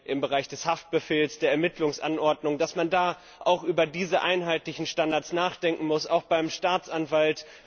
im Bereich des Haftbefehls, der Ermittlungsanordnung, auch über diese einheitlichen Standards nachdenken muss, auch beim Staatsanwalt.